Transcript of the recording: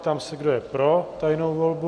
Ptám se, kdo je pro tajnou volbu?